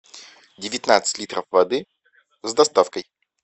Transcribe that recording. девятнадцать литров воды с доставкой